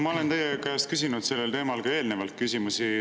Ma olen teie käest küsinud selle teema kohta ka eelnevalt küsimusi.